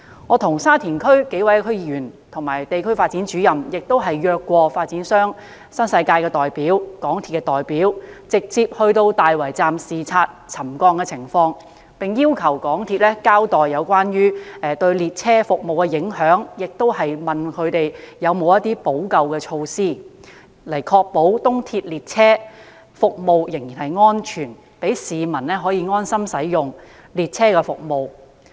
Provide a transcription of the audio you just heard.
我和沙田區數位區議員和地區發展主任曾邀約發展商新世界的代表和港鐵公司的代表，直接到大圍站視察沉降情況，並要求港鐵公司交代沉降對列車服務的影響，同時詢問港鐵公司有否補救措施，以確保東鐵列車服務仍然安全，讓市民可以安心使用列車服務。